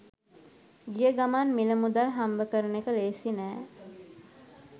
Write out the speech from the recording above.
ගිය ගමන් මිල මුදල් හම්බ කරන එක ලෙහෙසි නැහැ